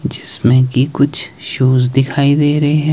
जिसमें की कुछ शूज दिखाई दे रहे हैं।